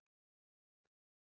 mars